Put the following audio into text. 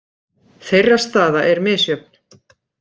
Þeirra staða er misjöfn.